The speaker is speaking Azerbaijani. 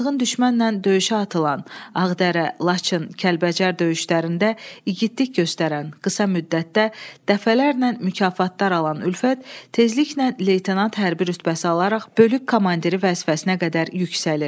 Azğın düşmənlə döyüşə atılan, Ağdərə, Laçın, Kəlbəcər döyüşlərində igidlik göstərən, qısa müddətdə dəfələrlə mükafatlar alan Ülfət tezliklə leytenant hərbi rütbəsi alaraq bölük komandiri vəzifəsinə qədər yüksəlir.